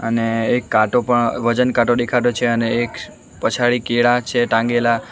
ને એક કાંટો પણ વજન કાંટો દેખાતો છે અને એક પછાડી કેળા છે ટાંગેલા.